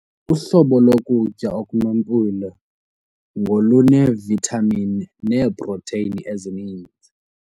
Uhlobo lokutya okunempilo ngoluneevithamini neeprotheyini ezininzi.